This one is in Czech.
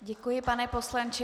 Děkuji, pane poslanče.